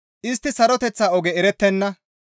Istti saroteththa oge erettenna.